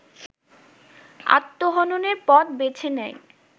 আত্মহননের পথ বেছে নেয়